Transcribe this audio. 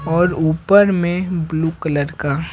और ऊपर में ब्लू कलर का।